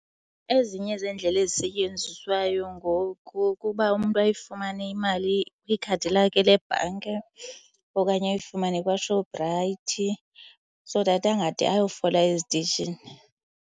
Ezinye zeendlela ezisetyenziswayo ngoku ukuba umntu ayifumane imali kwikhadi lakhe lebhanki okanye ayifumane kwaShoprite so that angade ayofola ezitishini.